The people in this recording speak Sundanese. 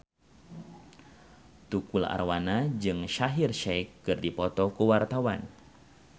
Tukul Arwana jeung Shaheer Sheikh keur dipoto ku wartawan